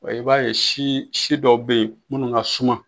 I b'a ye si si dɔw bɛ yen munnu ka suma.